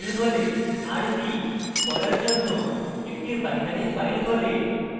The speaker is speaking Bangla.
rb = পড়ার জন্য একটি binary file খোলে